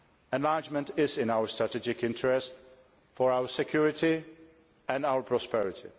Enlargement is in our strategic interest, for our security and our prosperity.